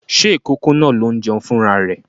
Ṣé ìkókó náà ló ń jẹun fún ra rẹ̀?